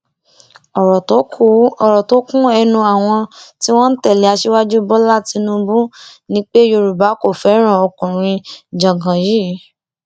ọrọ tó kún ẹnu àwọn tí wọn ń tẹlé aṣíwájú bọlá tínúbù ni pé yorùbá kò fẹràn ọkùnrin jágán yìí